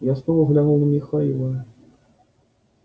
я снова взглянул на михаила